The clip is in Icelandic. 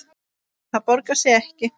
Það borgar sig ekki